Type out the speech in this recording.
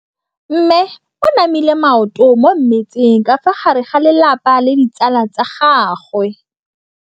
Mme o namile maoto mo mmetseng ka fa gare ga lelapa le ditsala tsa gagwe.